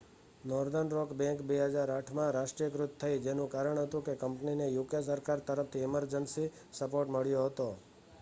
northern rock bank 2008માં રાષ્ટ્રીયકૃત થઈ જેનું કારણ હતું કે કંપનીને યુકે સરકાર તરફથી ઇમર્જન્સી સપોર્ટ મળ્યો હતો